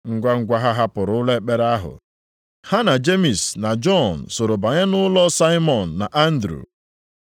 Ngwangwa ha hapụrụ ụlọ ekpere ahụ, ha na Jemis na Jọn soro banye nʼụlọ Saimọn na Andru.